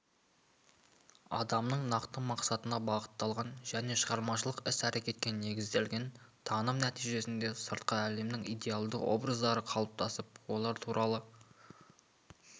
адамның нақты мақсатына бағытталған және шығармашылық іс-әрекетке негізделген таным нәтижесінде сыртқы әлемнің идеалды образдары қалыптасып олар туралы